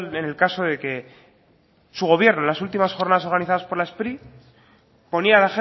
en el caso de que su gobierno en las últimas jornadas organizadas por la spri ponía